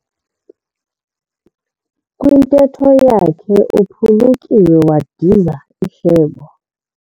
Kwintetho yakhe uphulukiwe wadiza ihlebo.